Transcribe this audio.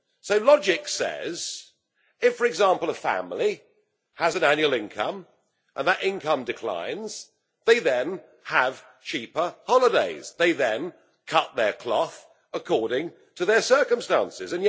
So logic says that if, for example, a family has an annual income and that income declines, they then have cheaper holidays, they cut their cloth according to their circumstances.